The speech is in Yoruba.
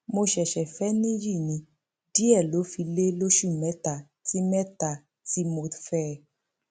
mo ṣẹṣẹ fẹ níyì ní díẹ ló fi lé lóṣù mẹta tí mẹta tí mo fẹ ẹ